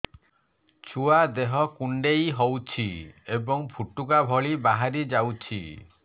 ଛୁଆ ଦେହ କୁଣ୍ଡେଇ ହଉଛି ଏବଂ ଫୁଟୁକା ଭଳି ବାହାରିଯାଉଛି